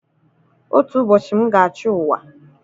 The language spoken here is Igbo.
Otu ụbọchị, m ga-achị ụwa